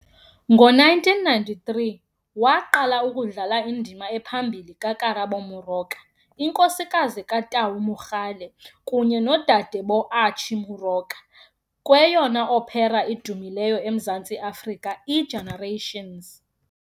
Ngo-1993, waqala ukudlala indima ephambili kaKarabo Moroka, inkosikazi kaTau Mogale kunye nodade boArchie Moroka, kweyona opera idumileyo eMzantsi Afrika, "iGenerations" .